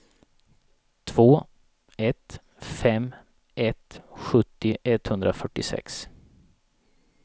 två ett fem ett sjuttio etthundrafyrtiosex